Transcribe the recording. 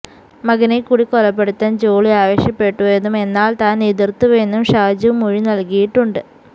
മകനെ കൂടി കൊലപ്പെടുത്താൻ ജോളി ആവശ്യപ്പെട്ടുവെന്നും എന്നാൽ താൻ എതിർത്തുവെന്നും ഷാജു മൊഴി നൽകിയിട്ടുണ്ട്